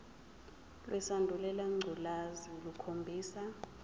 lesandulela ngculazi lukhombisa